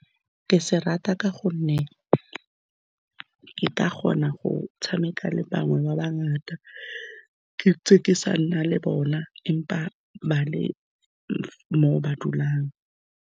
Ke se rata ka gonne ke ka kgona go tshameka le bangwe ba bangata, ke ntse ke sa nna le bona, empa ba le mo ba dulang.